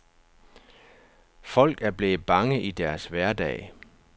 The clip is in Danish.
Folk er blevet bange i deres hverdag.